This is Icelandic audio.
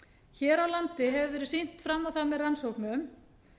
hér á landi hefur verið sýnt fram á það með rannsóknum